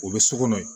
O bɛ so kɔnɔ yen